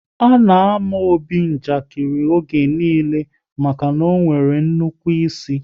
A na àmà Obi njakiri oge niile maka na ọ nwere nnukwu ịsị